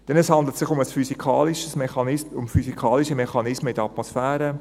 Denn es handelt sich um physikalische Mechanismen in der Atmosphäre.